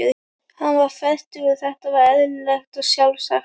Hann var fertugur, þetta var eðlilegt og sjálfsagt.